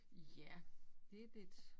Ja det lidt